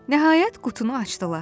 Nəhayət, qutunu açdılar.